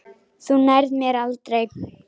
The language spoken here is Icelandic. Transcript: Þú nærð mér aldrei!